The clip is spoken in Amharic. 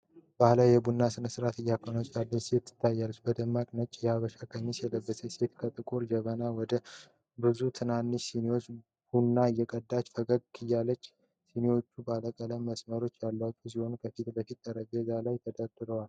ባህላዊ የቡና ሥነ-ሥርዓት እያከናወነች ያለች ሴት ትታያለች። በደማቅ ነጭ የሐበሻ ቀሚስ የለበሰችው ሴት ከጥቁር ጀበና ወደ ብዙ ትናንሽ ሲኒ ቡና እየቀዳች ፈገግታዋ አይለያትም። ሲኒዎቹ ባለቀለም መስመሮች ያሏቸው ሲሆን፣ ከፊት ለፊቷ በጠረጴዛ ላይ ተደርድረዋል።